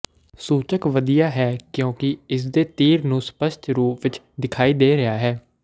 ਸੂਚਕ ਵਧੀਆ ਹੈ ਕਿਉਂਕਿ ਇਸਦੇ ਤੀਰ ਨੂੰ ਸਪੱਸ਼ਟ ਰੂਪ ਵਿਚ ਦਿਖਾਈ ਦੇ ਰਿਹਾ ਹੈ